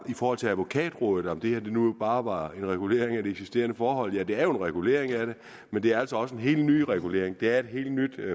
i forhold til advokatrådet om det her nu bare var en regulering af de eksisterende forhold ja det er jo en regulering af det men det er altså også en helt ny regulering det er et helt nyt